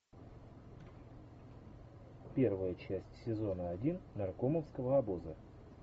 первая часть сезона один наркомовского обоза